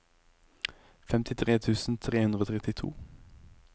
femtitre tusen tre hundre og trettito